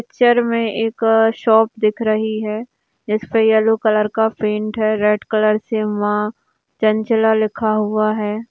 Picture मे एक shop दिख रही है जिसका येलो कलर का पेंट है रेड कलर से वहां चंचला लिखा हुआ है।